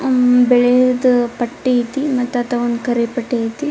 ಉಹ್ ಬಿಳಿದು ಪಟ್ಟಿ ಆಯ್ತಿ ಮತ್ತ್ ಅತ್ತ್ ಕರಿ ಪಟ್ಟಿ ಆಯ್ತಿ.